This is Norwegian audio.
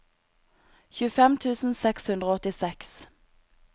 tjuefem tusen seks hundre og åttiseks